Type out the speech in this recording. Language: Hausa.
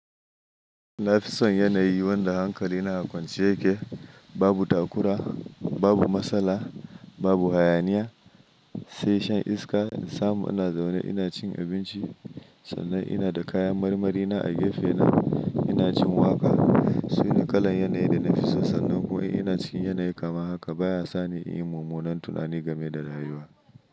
Nafison yanayi wanda hankali na kwance yake, babu takura, babu matsala, babu hayaniya, sai shan iska, in samu ina zaune ina cin abinci, sannan ina da kayan marmarina a gefena, ina jin waƙa, suna kalan yanayi da na fi so sannan kuwa ina cikin yanayi kamar haka baya sani yin mummunan tunani game da rayuwa.